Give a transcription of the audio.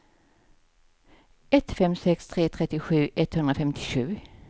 ett fem sex tre trettiosju etthundrafemtiosju